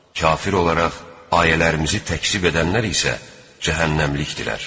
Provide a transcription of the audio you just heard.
Kafir olaraq ayələrimizi təkzib edənlər isə cəhənnəmlikdirlər.